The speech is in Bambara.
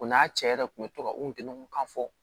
O n'a cɛ yɛrɛ kun bɛ to ka u kunkan fɔ